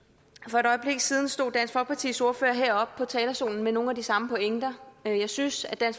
for et øjeblik siden stod dansk folkepartis ordfører heroppe på talerstolen med nogle af de samme pointer jeg synes at